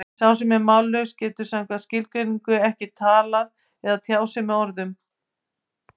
Sá sem er mállaus getur samkvæmt skilgreiningu ekki talað eða tjáð sig í orðum.